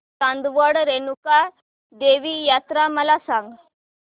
चांदवड रेणुका देवी यात्रा मला सांग